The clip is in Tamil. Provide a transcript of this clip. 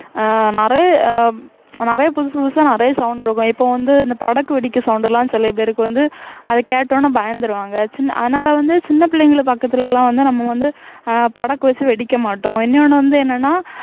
ஆஹ் நிறைய அஹ் நிறைய புதுசு புதுசா நிறைய sound இருக்கும் இப்ப வந்து இந்த படக்கு வெடிக்க sound எல்லாம் சில பேருக்கு வந்து அது கேட்ட உடனே பயந்துருவாங்க சின்~ அதனால வந்து சின்ன பிள்ளைங்கள பக்கத்துல எல்லாம் வந்து நம்ம வந்து அஹ் படக்கு வச்சு வெடிக்க மாட்டோம் இன்யொன்னு வந்து என்னனா